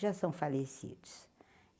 já são falecidos.